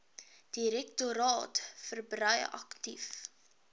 direktoraat verbrei aktief